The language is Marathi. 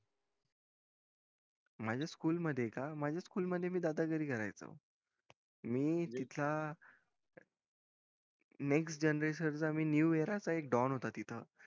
माझ्या school मध्ये का मी दादागिरी करायचो मी इथला next generation चा मी new area चा डॉन होता तिथं